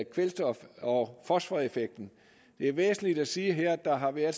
kvælstof og fosforeffekten det er væsentligt at sige her at der har været